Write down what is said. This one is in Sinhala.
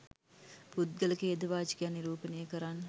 පුද්ගල ඛේදවාචකයක් නිරූපණය කරන්න